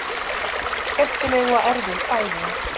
Skemmtileg og erfið fæðing